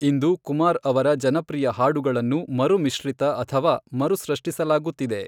ಇಂದು ಕುಮಾರ್ ಅವರ ಜನಪ್ರಿಯ ಹಾಡುಗಳನ್ನು ಮರು ಮಿಶ್ರಿತ ಅಥವಾ ಮರುಸೃಷ್ಟಿಸಲಾಗುತ್ತಿದೆ.